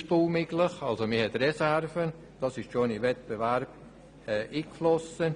Das Projekt ist ausbaufähig, so dass man Reserven hat.